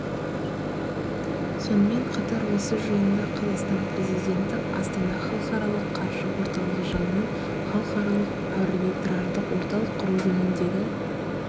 сонымен қатар осы жиында қазақстан президенті астана халықаралық қаржы орталығы жанынан халықаралық арбитраждық орталық құру жөніндегі